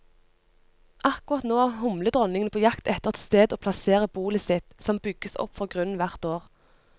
Akkurat nå er humledronningene på jakt etter et sted å plassere bolet sitt, som bygges opp fra grunnen hvert år.